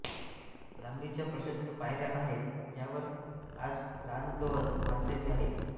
लांबीच्या प्रशस्त पायऱ्या आहेत ज्यावर आज रानगवत माजलेले आहे